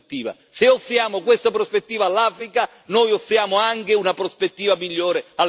Se offriamo questa prospettiva all'Africa, noi offriamo anche una prospettiva migliore all'Europa.